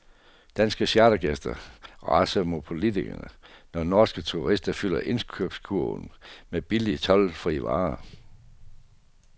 Danske chartergæster raser mod politikerne, når norske turister fylder indkøbskurven med billige toldfrie varer.